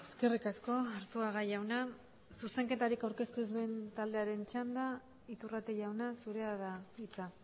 eskerrik asko arzuaga jauna zuzenketarik aurkeztu ez duen taldearen txanda iturrate jauna zurea da hitza